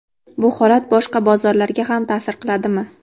Bu holat boshqa bozorlarga ham ta’sir qiladimi?.